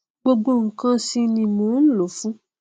gbogbo nkan sì ni mò nlò ó fún